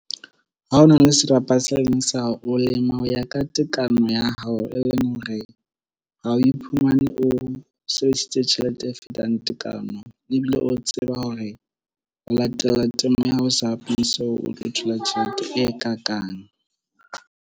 Ha o na le serapa se leng sa o lema ho ya ka tekano ya hao e leng hore ha o iphumane o sebedisitse tjhelete e fetang tekano ebile o tseba hore o latela temo ya hao o sa so o tlo thola tjhelete e ka kang.